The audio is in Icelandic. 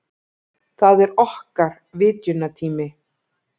Það er okkar vitjunartími.